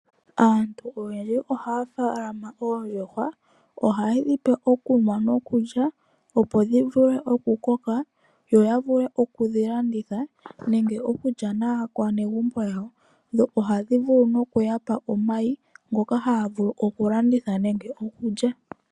Aantu oyendji oha ya tekula oondjuhwa, oha ye dhi pe okulya nokunwa, opo dhi vule oku koka yo ya vule oku dhi landitha, nenge okulya naakwanegumbo yawo. Oha dhi vulu no ku yapa omayi, ngoka ha ya vulu oku landitha nene okulya.